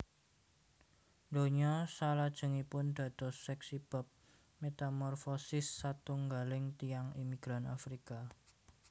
Donya salajengipun dados seksi bab metamorfosis satunggaling tiyang imigran Afrika